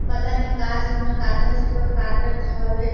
पता नई का चीज में काटथे पर काटत हवे।